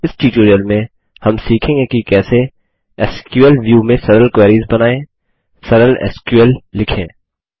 इस ट्यूटोरियल में हम सीखेंगे कि कैसेः एसक्यूएल व्यू में सरल क्वेरीस बनाएँ सरल एसक्यूएल लिखें